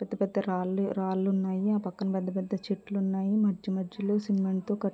పెద్ద పెద్ద రాలు రాలున్నాయి. ఆ పక్కన పెద్ద పెద్ద చెట్లున్నాయి. మధ్య మధ్య లో సిమెంట్ తో క--